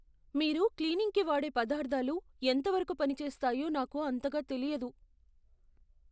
మీరు క్లీనింగ్కి వాడే పదార్ధాలు ఎంతవరకు పని చేస్తాయో నాకు అంతగా తెలియదు.